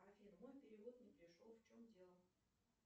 афина мой перевод не пришел в чем дело